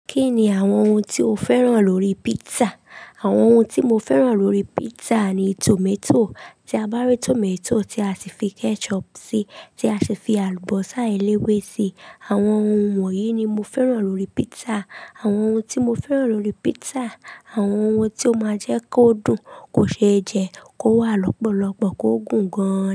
Kí ni àwọn ohun tí o fẹ́ràn lórí pizza? Àwọn ohun tí mo fẹ́ràn lórí pizza ni tomato, tí a bá rí tomato tí a sì fi ketchup sí i, tí a sì fi àlùbọ́sà eléwé sí i. Àwọn ohun wọ̀nyí ni mo fẹ́ràn lórí pizza. Àwọn ohun tí mo fẹ́ràn lórí pizza, àwọn ohun tí ó máa jẹ́ kó dùn, kó ṣe jẹ, kó wà lọ́pọ̀lọpọ̀, kó gùn gan-an.